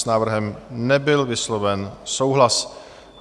S návrhem nebyl vysloven souhlas.